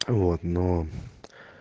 вот но